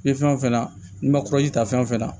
Ni fɛn o fɛn na n'i ma ta fɛn fɛn na